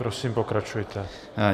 Prosím, pokračujte.